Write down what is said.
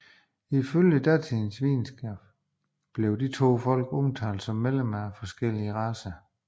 Ifølge datidens videnskab blev de to folk omtalt som medlemmer af forskellige racer